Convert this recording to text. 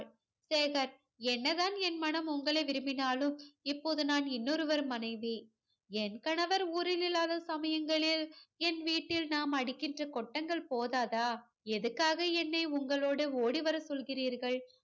சேகர், என்ன தான் என் மனம் உங்களை விரும்பினாலும் இப்போது நான் இன்னொருவர் மனைவி. என் கணவர் ஊரில் இல்லாத சமயங்களில் என் வீட்டில் நாம் அடிக்கின்ற கொட்டங்கள் போதாதா எதுக்காக என்னை உங்களோடு ஓடி வரச் சொல்கிறீர்கள்